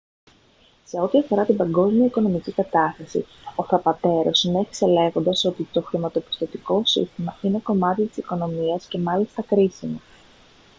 σε ό,τι αφορά την παγκόσμια οικονομική κατάσταση ο θαπατέρο συνέχισε λέγοντας ότι «το χρηματοπιστωτικό σύστημα είναι κομμάτι της οικονομίας και μάλιστα κρίσιμο